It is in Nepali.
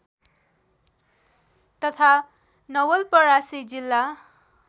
तथा नवलपरासी जिल्ला